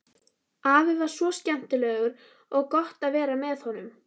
Afi var svo skemmtilegur og gott að vera með honum.